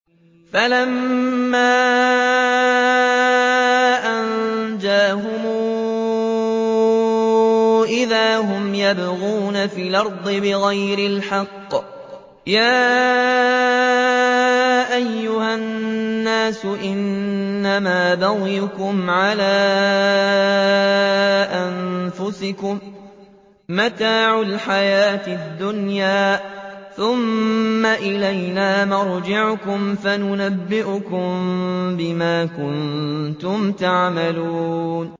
فَلَمَّا أَنجَاهُمْ إِذَا هُمْ يَبْغُونَ فِي الْأَرْضِ بِغَيْرِ الْحَقِّ ۗ يَا أَيُّهَا النَّاسُ إِنَّمَا بَغْيُكُمْ عَلَىٰ أَنفُسِكُم ۖ مَّتَاعَ الْحَيَاةِ الدُّنْيَا ۖ ثُمَّ إِلَيْنَا مَرْجِعُكُمْ فَنُنَبِّئُكُم بِمَا كُنتُمْ تَعْمَلُونَ